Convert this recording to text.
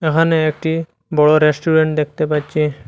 এখানে একটি বড় রেস্টুরেন্ট দেখতে পাচ্ছি।